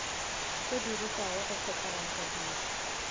se dirišwago go phethagatša tiro